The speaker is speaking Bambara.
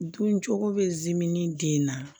Dun cogo bɛ zi ni den na